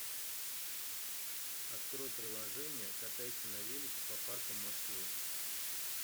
открой приложение катайся на велике по паркам москвы